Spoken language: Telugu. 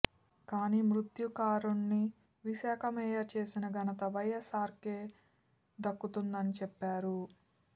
కానీ మత్స్యకారుడిని విశాఖ మేయర్ చేసిన ఘనత వైఎస్ఆర్కే దక్కుతుందని చెప్పారు